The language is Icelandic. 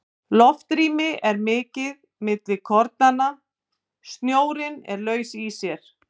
Loftrými er mikið milli kornanna, snjórinn er laus í sér.